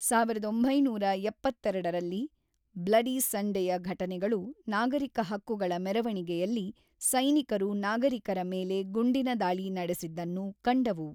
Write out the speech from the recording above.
ಸಾವಿರದ ಒಂಬೈನೂರ ಎಪ್ಪತ್ತೆರಡರಲ್ಲಿ "ಬ್ಲಡಿ ಸಂಡೆ"ಯ ಘಟನೆಗಳು ನಾಗರಿಕ ಹಕ್ಕುಗಳ ಮೆರವಣಿಗೆಯಲ್ಲಿ ಸೈನಿಕರು ನಾಗರಿಕರ ಮೇಲೆ ಗುಂಡಿನ ದಾಳಿ ನಡೆಸಿದ್ದನ್ನು ಕಂಡವು.